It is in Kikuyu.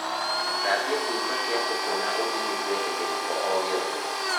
Thambia kĩimba kĩa mbũkũ na ũhinyu kweheria gĩko o gĩothe